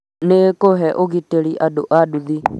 nĩĩkũhe ũgitĩri andũ a nduthi